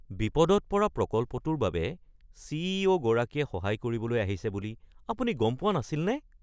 বিপদত পৰা প্ৰকল্পটোৰ বাবে চি.ই.অ’. গৰাকীয়ে সহায় কৰিবলৈ আহিছে বুলি আপুনি গম পোৱা নাছিলনে?